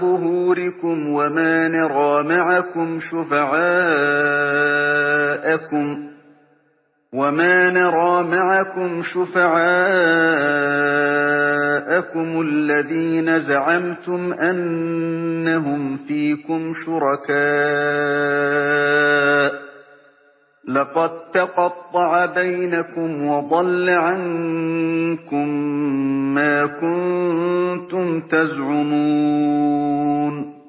ظُهُورِكُمْ ۖ وَمَا نَرَىٰ مَعَكُمْ شُفَعَاءَكُمُ الَّذِينَ زَعَمْتُمْ أَنَّهُمْ فِيكُمْ شُرَكَاءُ ۚ لَقَد تَّقَطَّعَ بَيْنَكُمْ وَضَلَّ عَنكُم مَّا كُنتُمْ تَزْعُمُونَ